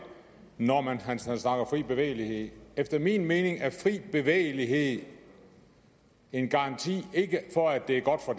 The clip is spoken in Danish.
når man snakker fri bevægelighed efter min mening er fri bevægelighed en garanti for at det er godt for